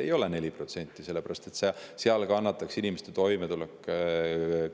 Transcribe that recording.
See tõus ei ole 4% sellepärast, et siis kannataks inimeste toimetulek